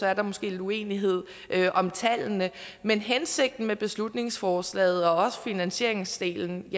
er der måske lidt uenighed om tallene men hensigten med beslutningsforslaget og også finansieringsdelen